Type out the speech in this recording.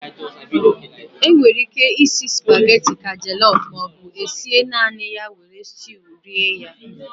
E nwere íké isi spageti ka jọlọf maọbụ esie naanị ya were stuu rie ya.